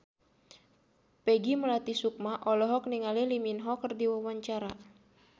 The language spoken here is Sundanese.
Peggy Melati Sukma olohok ningali Lee Min Ho keur diwawancara